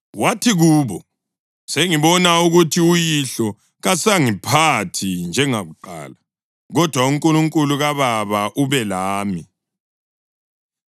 Wathi kubo, “Sengibona ukuthi uyihlo kasangiphathi njengakuqala, kodwa uNkulunkulu kababa ube lami.